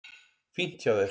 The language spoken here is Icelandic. Fínt hjá þér.